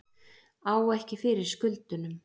Á ekki fyrir skuldunum